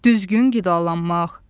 Düzgün qidalanmaq.